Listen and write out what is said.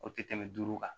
O tɛ tɛmɛ duuru kan